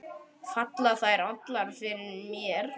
Falla þær allar fyrir þér?